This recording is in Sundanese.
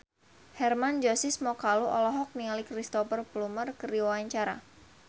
Hermann Josis Mokalu olohok ningali Cristhoper Plumer keur diwawancara